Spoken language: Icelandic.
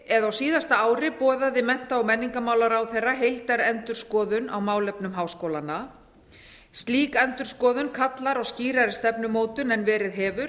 á síðasta ári boðaði mennta og menningarmálaráðherra heildarendurskoðun á málefnum háskólanna slík endurskoðun kallar á skýrari stefnumótun en verið hefur